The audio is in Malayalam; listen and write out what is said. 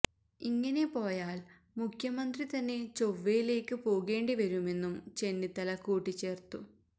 ഇങ്ങനെ പോയാല് മുഖ്യമന്ത്രി തന്നെ ചൊവ്വയിലേക്ക് പോകേണ്ടി വരുമെന്നും ചെന്നിത്തല കൂട്ടിച്ചേര്ത്തു